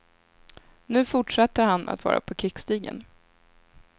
Nu fortsätter han att vara på krigsstigen.